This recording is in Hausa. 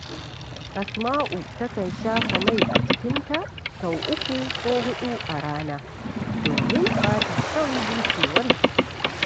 Asma’u takan shafa mai a jikinta sau uku ko huɗu a rana, domin ba ta son bushewar jiki